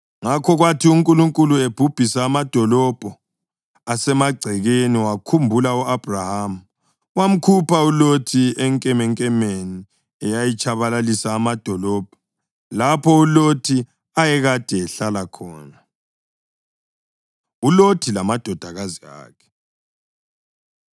Ngakho kwathi uNkulunkulu ebhubhisa amadolobho asemagcekeni wakhumbula u-Abhrahama, wamkhupha uLothi enkemenkemeni eyatshabalalisa amadolobho lapho uLothi ayekade ehlala khona. ULothi Lamadodakazi Akhe